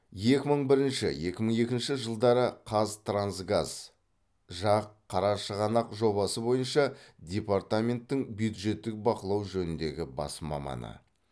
екі мың бірінші екі мың екінші жылдары қазтрансгаз жақ қарашығанақ жобасы бойынша департаменттің бюджеттік бақылау жөніндегі бас маманы